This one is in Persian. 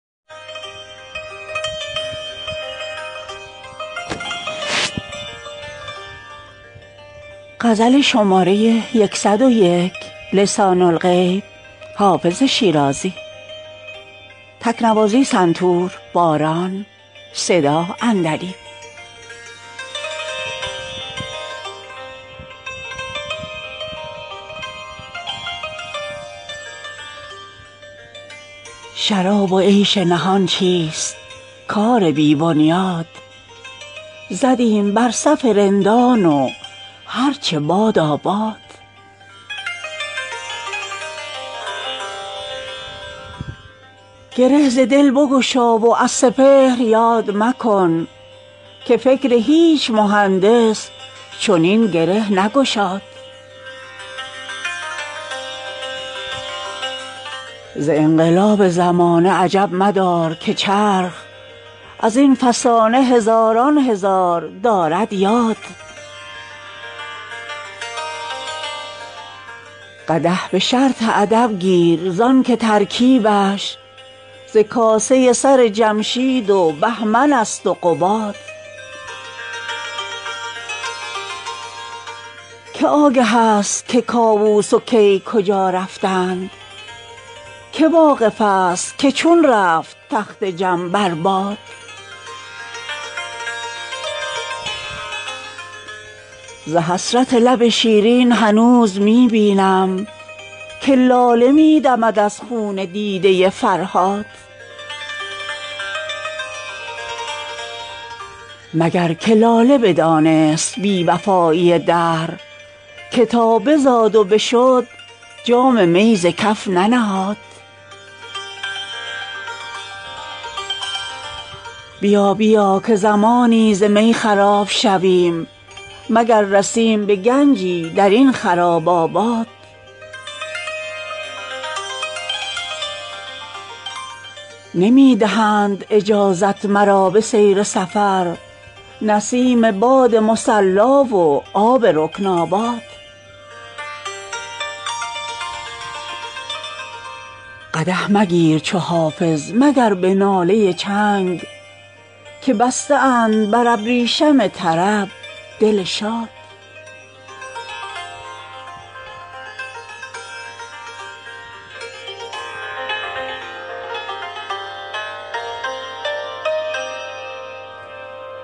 شراب و عیش نهان چیست کار بی بنیاد زدیم بر صف رندان و هر چه بادا باد گره ز دل بگشا وز سپهر یاد مکن که فکر هیچ مهندس چنین گره نگشاد ز انقلاب زمانه عجب مدار که چرخ از این فسانه هزاران هزار دارد یاد قدح به شرط ادب گیر زان که ترکیبش ز کاسه سر جمشید و بهمن است و قباد که آگه است که کاووس و کی کجا رفتند که واقف است که چون رفت تخت جم بر باد ز حسرت لب شیرین هنوز می بینم که لاله می دمد از خون دیده فرهاد مگر که لاله بدانست بی وفایی دهر که تا بزاد و بشد جام می ز کف ننهاد بیا بیا که زمانی ز می خراب شویم مگر رسیم به گنجی در این خراب آباد نمی دهند اجازت مرا به سیر سفر نسیم باد مصلا و آب رکن آباد قدح مگیر چو حافظ مگر به ناله چنگ که بسته اند بر ابریشم طرب دل شاد